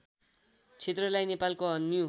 क्षेत्रलाई नेपालको अन्य